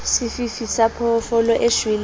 sefifi sa phoofolo e shweleng